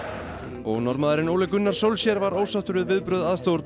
og Norðmaðurinn Ole Gunnar var ósáttur við viðbrögð